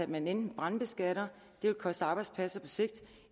man enten brandskatter det vil koste arbejdspladser på sigt